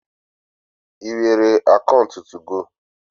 I nwere akaunt tugo?